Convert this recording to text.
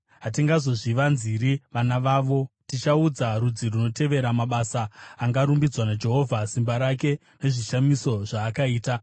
Hatingazozvivanziri vana vavo; tichaudza rudzi runotevera mabasa angarumbidzwa aJehovha, simba rake, nezvishamiso zvaakaita.